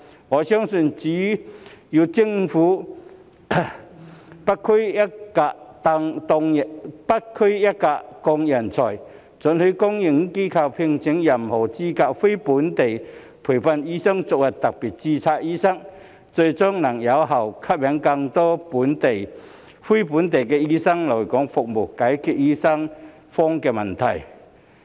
我相信，只有政府"不拘一格降人才"，准許公營機構聘請任何資格的非本地培訓醫生作為特別註冊醫生，最終能有效吸引更多非本地醫生來港服務，解決醫生荒問題。